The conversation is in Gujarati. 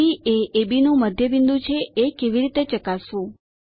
સી એ અબ નું મધ્ય બિંદુ છે એ કેવી રીતે ચકાસવું